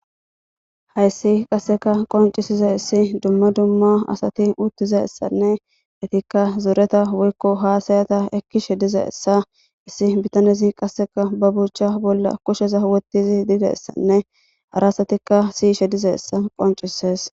hayssi qasseka qoncisiza issi dumma dumma asati uttiza essanne itikka zureta woykko haasayata ekkishe diza essa issi bitanezi qasseka ba buucha bolla kusheza wottizi didessanne ara asatikka siyishe diza essa qoncises